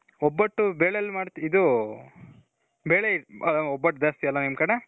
ಒಬ್ಬಟ್ಟು ಬೆಳೆಲ್ ಮಾಡ್ತಿ, ಇದು ಬೆಲೆ ಒಬ್ಬಟ್ಟು ಜಾಸ್ತಿ ಅಲ ನಿಮ್ ಕಡೆ.